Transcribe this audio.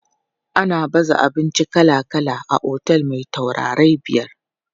Ana baza abinci kala kala a otel me taurarai biyar.